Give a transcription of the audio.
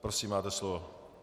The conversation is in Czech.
Prosím, máte slovo.